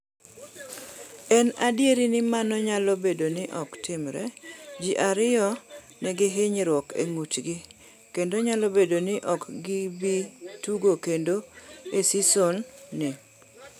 En adier ni mano nyalo bedo ni ok timre. Ji ariyo nigi hinyruok e ng’utgi kendo nyalo bedo ni ok gibi tugo kendo e seson ni.